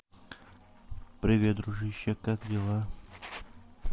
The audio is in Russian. привет дружище как дела